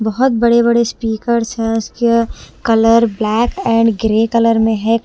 बहोत बड़े बड़े स्पीकर्स है इसके colour black and grey colour में है।